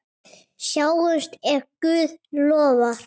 Sjáumst ef Guð lofar.